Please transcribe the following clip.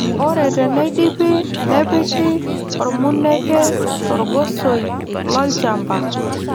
Ore teneidipi nepiki ormuneke torgosoi lolchamba.